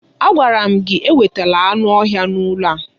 Agwara m gị ewetala anụ ọhịa n'ụlọ a!